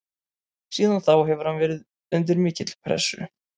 Síðan þá hefur hann verið undir mikilli pressu.